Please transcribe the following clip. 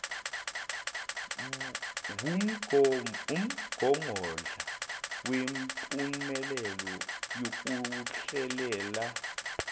wumgogodla wempumelelo yokuhlelela